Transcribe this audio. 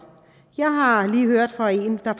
jeg har lige hørt fra en der